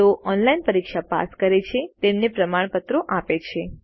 જેઓ ઓનલાઇન પરીક્ષા પાસ કરે છે તેમને પ્રમાણપત્ર આપે છે